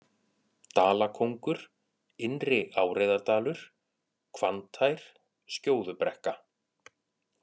Dalakóngur, Innri-Áreiðardalur, Hvanntær, Skjóðubrekka